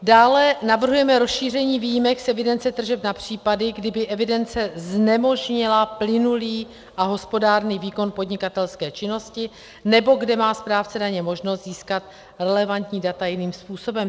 Dále navrhujeme rozšíření výjimek z evidence tržeb na případy, kdy by evidence znemožnila plynulý a hospodárný výkon podnikatelské činnosti nebo kde má správce daně možnost získat relevantní data jiným způsobem.